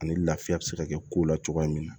Ani lafiya be se ka kɛ ko la cogoya min na